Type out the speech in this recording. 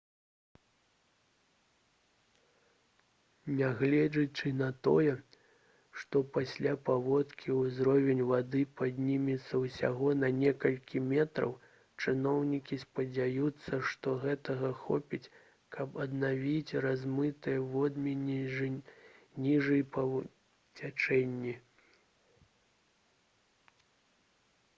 нягледзячы на тое што пасля паводкі ўзровень вады паднімецца ўсяго на некалькі метраў чыноўнікі спадзяюцца што гэтага хопіць каб аднавіць размытыя водмелі ніжэй па цячэнні